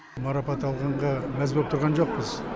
марапат алғанға мәз боп тұрған жоқпыз